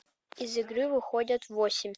из игры выходят восемь